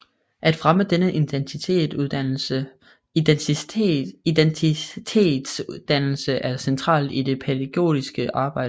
At fremme denne identitetsdannelse er centralt i det pædagogiske arbejde